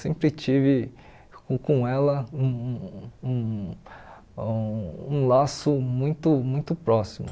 Sempre tive com com ela um um um um um laço muito muito próximo.